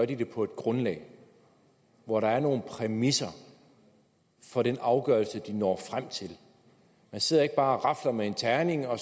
den det på et grundlag hvor der er nogle præmisser for den afgørelse den når frem til man sidder ikke bare og rafler med en terning og